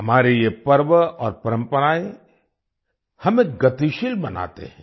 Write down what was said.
हमारे ये पर्व और परम्पराएँ हमें गतिशील बनाते हैं